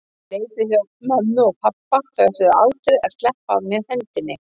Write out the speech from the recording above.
Ég leit við hjá mömmu og pabba, þau ætluðu aldrei að sleppa af mér hendinni.